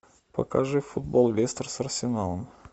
покажи футбол лестер с арсеналом